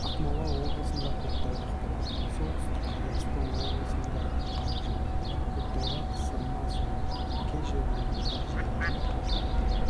ақмола облысында көктайғақ болады солтүстік қазақстан облысында қар жауады көктайғақ сырма соғады кей жерлерінде желдің